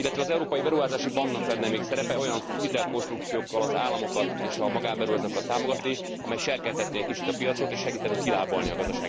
Illetve az Európai Beruházási Banknak lenne még szerepe olyan hitelkonstrukciókkal az államokat és a magánberuházókat támogatni, amelyek serkentenék egy kicsit a piacot, és segítenének kilábalni a gazdasági válságból.